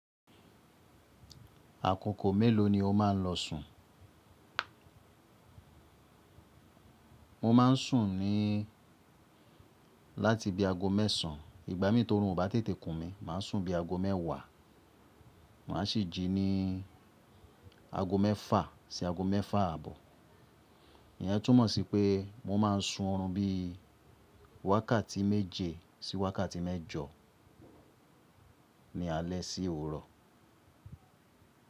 Àkókò mélòó ni o máa ń lọ sùn? Mo má ń sùn ní láti bí ago mẹ́sàn. Ìgbà mí tó orun obá tètè kùn mí, màá sùn bí ago mẹ́wàá. Màá sì jí ní ago mẹ́fà sí ago mẹ́fà àbọ̀. Ìyẹn túmọ̀ sí pé mo má ń sun ọ̀run bí wákàtí méje sí wákàtí mẹ́jọ ni alẹ́ sí òwúrò.